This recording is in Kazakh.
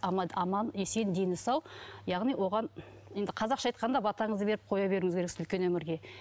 аман есен дені сау яғни оған енді қазақша айтқанда батаңызды беріп қоя беруіңіз керексіз үлкен өмірге